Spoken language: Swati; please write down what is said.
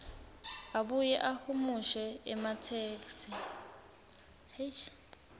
abuye ahumushe ematheksthi